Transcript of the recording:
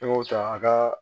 Ne y'o ta a ka